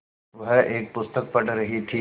वह एक पुस्तक पढ़ रहीं थी